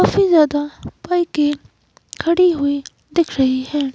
सबसे ज्यादा बाईके खड़ी हुई दिख रही है।